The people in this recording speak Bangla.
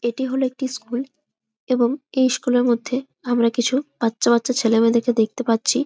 এইটি হলো একটি স্কুল এবং এই স্কুলের মধ্যে আমরা কিছু বচ্চা বাচ্চা ছেলে মেয়েদেরকে দেখতে পাচ্ছি।